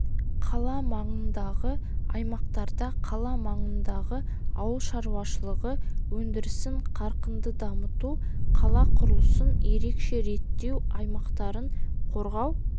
қала маңындағы аймақтарда қала маңындағы ауыл шаруашылығы өндірісін қарқынды дамыту қала құрылысын ерекше реттеу аймақтарын қорғау